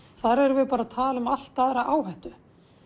þar erum við bara að tala um allt aðra áhættu